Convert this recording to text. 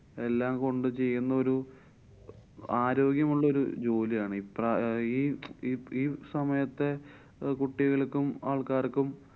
എല്ലാം കൊണ്ടു ചെയ്യുന്നൊരു ആരോഗ്യമുള്ളൊരു ജോലിയാണ്. ഇപ്രായ~ ഈ~ ഈ~ ഈ സമയത്തെ കുട്ടികള്‍ക്കും ആള്‍ക്കാര്‍ക്കും